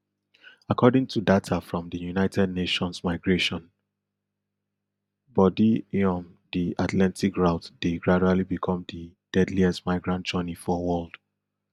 according to data from di united nations migration body iom di atlantic route dey gradually become di deadliest migrant journey for world